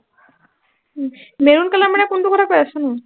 উম maroon color মানে কোনটোৰ কথা কৈ আছ ন